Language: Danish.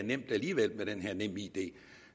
it